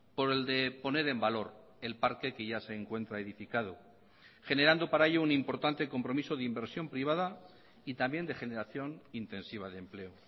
por el de poner en valor el parque que ya se encuentra edificado generando para ello un importante compromiso de inversión privada y también de generación intensiva de empleo